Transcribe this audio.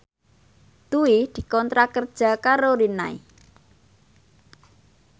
Dwi dikontrak kerja karo Rinnai